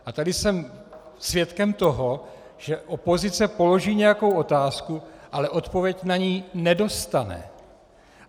A tady jsem svědkem toho, že opozice položí nějakou otázku, ale odpověď na ni nedostane.